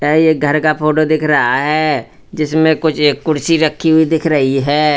यह एक घर का फोटो दिख रहा है जिसमें कुछ एक कुर्सी रखी हुई दिख रही है।